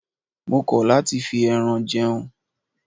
Mo kọ̀ láti fi ẹran jẹun.